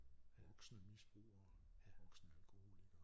Voksne misbrugere voksne alkoholikere